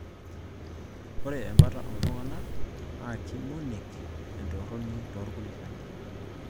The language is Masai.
Ore embata ooltung'anaka naakimonek entorroni torkulikae